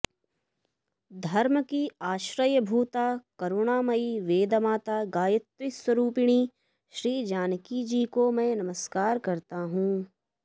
धर्म की आश्रयभूता करुणामयी वेदमाता गायत्रीस्वरूपिणी श्रीजानकीको मैं नमस्कार करता हूँ